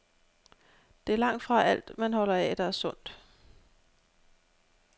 Det er langtfra alt, man holder af, der er sundt.